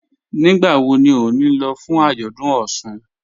Nígbàwọ̀ ní o ní lọ̀ fún ajọ́dún Ọṣun?